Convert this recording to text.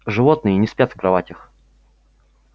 животные не спят в кроватях